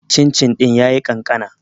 cin-cin ɗin ya yi kankana